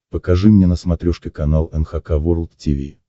покажи мне на смотрешке канал эн эйч кей волд ти ви